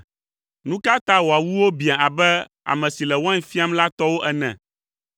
Nu ka ta wò awuwo biã abe ame si le wain fiam la tɔwo ene?